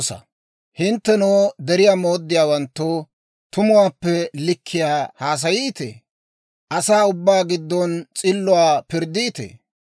Gidena, hintte wozanaan iitabaa halchchiita; biittan hintte kushii makkalabaa ootseedda.